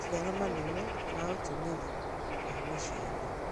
Maciaro manene ma ũtũmĩri wa mĩcii-inĩ